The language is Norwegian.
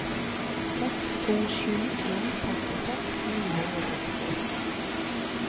seks to sju en femtiseks ni hundre og sekstiåtte